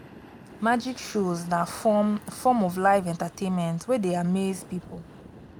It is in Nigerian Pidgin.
magic shows na form form of live entertainment wey de amaze pipo